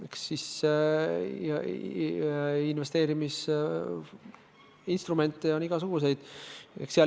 Eks investeerimisinstrumente on igasuguseid.